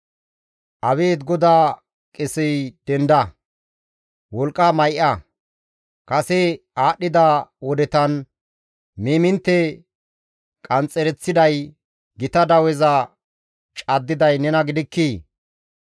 Abeet GODAA qesey denda; wolqqa may7a; kase aadhdhida wodetan, miimintte qanxxereththiday, gita daweza caddiday nena gidikkii?